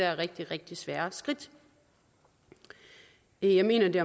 rigtig rigtig svære skridt jeg mener at det